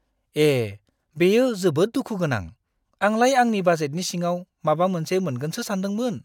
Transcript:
ए, बेयो जोबोद दुखु गोनां। आंलाय आंनि बाजेटनि सिङाव माबा मोनसे मोनगोनसो सानदोंमोन!